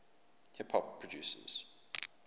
hip hop record producers